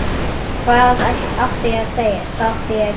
Hvað átti ég að segja, hvað átti ég að gera?